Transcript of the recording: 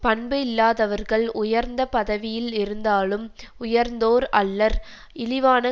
பண்பு இல்லாதவர்கள் உயர்ந்த பதவியில் இருந்தாலும் உயர்ந்தோர் அல்லர் இழிவான